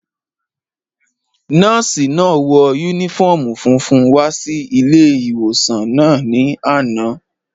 Nọ́ọ̀sì náà wọ yúnífọ́ọ̀mù funfun wá sí ilé-ìwòsàn náà ní àná